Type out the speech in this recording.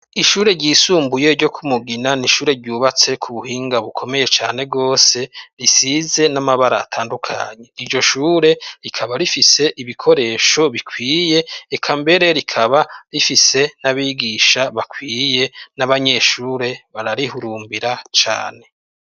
Ishure ryisumbuye ryo ku Mugina ni ishure ryubatse ku buhinga bukomeye cane rwose, risize n'amabara atandukanye. Iryo shure rikaba rifise ibikoresho bikwiye. Eka mbere rikaba rifise n'abigisha bakwiye. N'abanyeshure bararihurumbira cane.